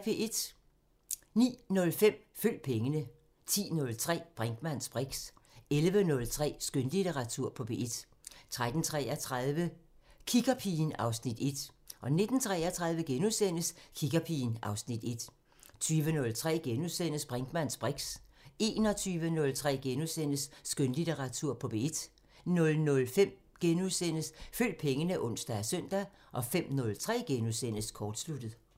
09:05: Følg pengene 10:03: Brinkmanns briks 11:03: Skønlitteratur på P1 13:33: Kiggerpigen (Afs. 1) 19:33: Kiggerpigen (Afs. 1)* 20:03: Brinkmanns briks * 21:03: Skønlitteratur på P1 * 00:05: Følg pengene *(ons og søn) 05:03: Kortsluttet *